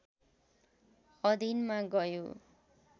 अधीनमा गयो